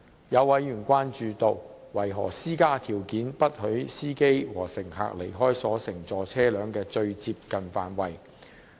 有委員詢問，當局為何施加條件，不許司機和乘客離開所乘坐車輛的"最接近範圍"。